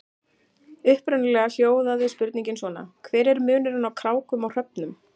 Upprunalega hljóðaði spurningin svona: Hver er munurinn á krákum og hröfnum?